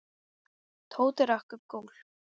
Tóti rak upp gól.